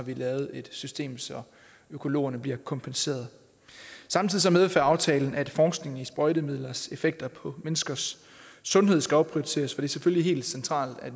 vi lavet et system så økologerne bliver kompenseret samtidig medfører aftalen at forskningen i sprøjtemidlers effekter på menneskers sundhed skal opprioriteres er selvfølgelig helt centralt at